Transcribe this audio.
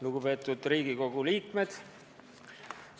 Lugupeetud Riigikogu liikmed!